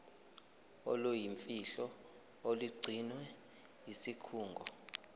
oluyimfihlo olugcinwe yisikhungo